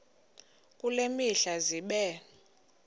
kule mihla zibe